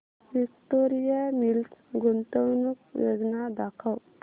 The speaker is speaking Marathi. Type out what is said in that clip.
विक्टोरिया मिल्स गुंतवणूक योजना दाखव